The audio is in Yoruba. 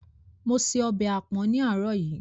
Mo se ọbẹ̀ àpọ̀n ní àárọ̀ yìí.